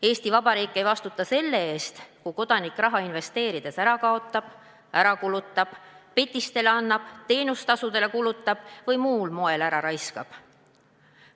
Eesti Vabariik ei vastuta selle eest, kui kodanik raha investeerides ära kaotab, ära kulutab, petistele annab, teenustasudele kulutab või muul moel ära raiskab.